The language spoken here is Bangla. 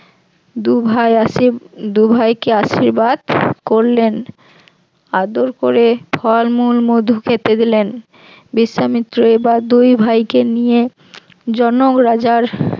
দু ভাই আসিস দু ভাইকে আশীর্বাদ করলেন, আদর করে ফলমূল মধু খেতে দিলেন বিশ্বামিত্র এবার দুই ভাইকে নিয়ে জনক রাজার